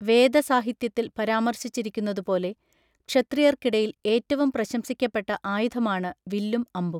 വേദ സാഹിത്യത്തിൽ പരാമർശിച്ചിരിക്കുന്നതുപോലെ, ക്ഷത്രിയർക്കിടയിൽ ഏറ്റവും പ്രശംസിക്കപ്പെട്ട ആയുധമാണ് വില്ലും അമ്പും.